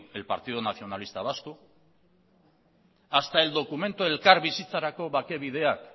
el partido nacionalista vasco hasta el documento